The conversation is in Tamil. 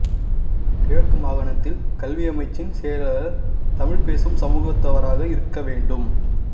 கிழக்கு மாகாணத்தில் கல்வியமைச்சின் செயலாளர் தமிழ்பேசும் சமூகத்தவராக இருக்க வேண்டும்